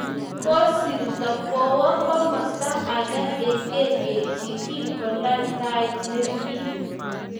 Kisirto kowo komasta age eng kelyek chii kingolal tait nepirir